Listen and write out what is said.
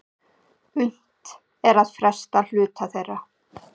Unnt er að fresta hluta þeirra